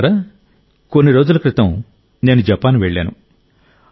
మిత్రులారా కొన్ని రోజుల క్రితం నేను జపాన్ వెళ్ళాను